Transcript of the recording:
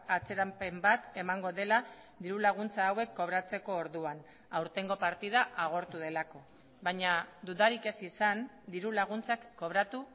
atzerapen bat emango dela diru laguntza hauek kobratzeko orduan aurtengo partida agortu delako baina dudarik ez izan diru laguntzak kobratu